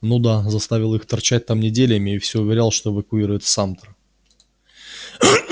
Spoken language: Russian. ну да заставил их торчать там неделями и все уверял что эвакуирует самтер